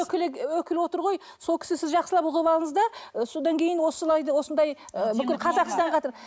өкілі отыр ғой сол кісі сіз жақсылап ұғып алыңыз да ы содан кейін осылай да осындай ы бүкіл қазақстанға